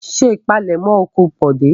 Ṣé ìpalẹ́mọ́ oko Bọ̀dé!